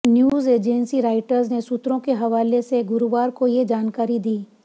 news agency Reuters ने सूत्रों के हवाले से गुरुवार को ये जानकारी दी